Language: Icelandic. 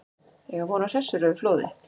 Eiga von á hressilegu flóði